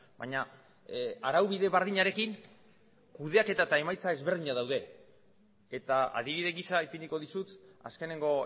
baina araubide berdinarekin kudeaketa eta emaitza ezberdinak daude eta adibide gisa ipiniko dizut azkeneko